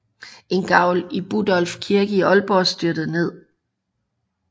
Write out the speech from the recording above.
En gavl i Budolfi Kirke i Ålborg styrtede ned